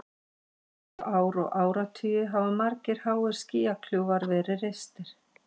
Síðustu ár og áratugi hafa margir háir skýjakljúfar verið reistir.